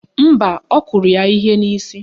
Mba, ọ kụrụ ya ihe n'isi